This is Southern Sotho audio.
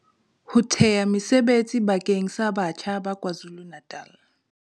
Ho thea mesebetsi bakeng sa batjha ba KwaZulu-Natal.